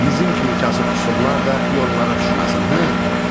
Bizim kimi kasıb-küsublar da yollara düşməsin, hı?